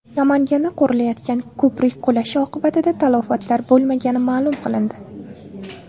Namanganda qurilayotgan ko‘prik qulashi oqibatida talafotlar bo‘lmagani ma’lum qilindi.